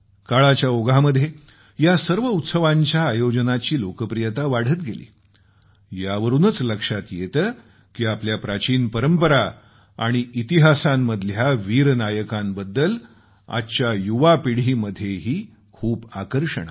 काळाच्या ओघामध्ये या सर्व उत्सवांच्या आयोजनाची लोकप्रियता वाढत गेली यावरूनच लक्षात येतं की आपल्या प्राचीन परंपरा आणि इतिहासांमधल्या वीर नायकांबद्दल आजच्या युवा पिढीमध्येही खूप आकर्षण आहे